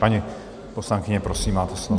Paní poslankyně, prosím, máte slovo.